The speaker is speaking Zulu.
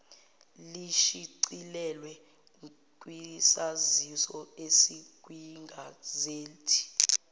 lishicilelwe kwisaziso esikwigazethi